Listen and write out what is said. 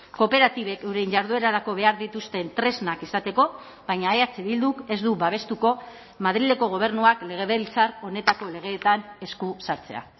kooperatibek euren jarduerarako behar dituzten tresnak izateko baina eh bilduk ez du babestuko madrileko gobernuak legebiltzar honetako legeetan esku sartzea